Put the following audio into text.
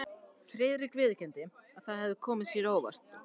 Friðrik viðurkenndi, að það hefði komið sér á óvart.